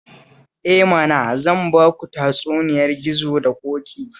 Eh mana, zan ba ku tatsuniyar gizo da ƙoƙi